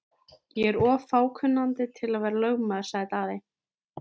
Ég er of fákunnandi til að vera lögmaður, sagði Daði.